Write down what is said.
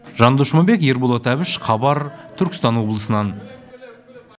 жандос жұмабек ерболат әбіш хабар түркістан облысынан